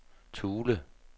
Thule